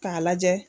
K'a lajɛ